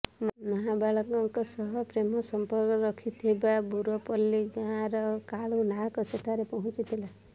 ନାବାଳିକାଙ୍କ ସହ ପ୍ରେମ ସଂପର୍କ ରଖିଥିବା ବୁରପଲ୍ଲୀ ଗାଁର କାଳୁ ନାୟକ ସେଠାରେ ପହଞ୍ଚିଥିଲା